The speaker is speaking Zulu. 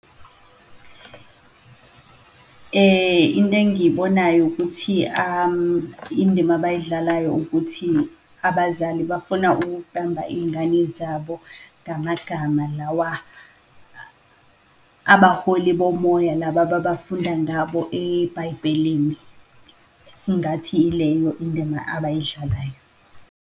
Into engiyibonayo ukuthi indima abayidlalayo ukuthi abazali bafuna ukuqamba iyingane zabo ngamagama lawa abaholi bomoya laba ababafunda ngabo ebhayibhelini. Ingathi ileyo indima abayidlalayo.